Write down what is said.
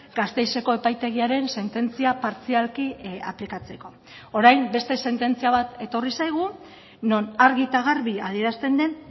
gasteizeko epaitegiaren sententzia partzialki aplikatzeko orain beste sententzia bat etorri zaigu non argi eta garbi adierazten den